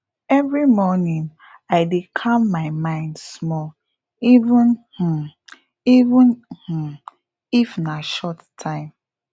every morning i dey calm my mind small even um even um if na short time